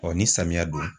Ɔ ni samiya don